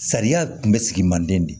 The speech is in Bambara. Sariya kun bɛ sigi manden de